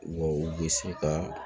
Wa u bɛ se ka